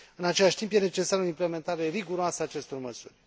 În același timp, e necesară o implementare riguroasă a acestor măsuri.